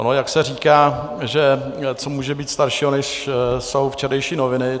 Ono jak se říká, že co může být staršího, než jsou včerejší noviny?